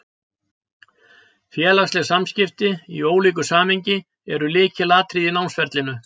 Félagsleg samskipti, í ólíku samhengi, eru lykilatriði í námsferlinu.